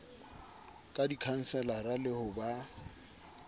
ka dikhanselara le ho ba